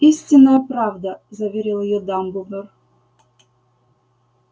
истинная правда заверил её дамблдор